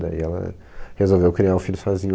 Daí ela resolveu criar um filho sozinha.